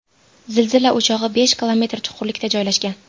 Zilzila o‘chog‘i besh kilometr chuqurlikda joylashgan.